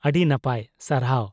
ᱟᱹᱰᱤ ᱱᱟᱯᱟᱭ, ᱥᱟᱨᱦᱟᱣ᱾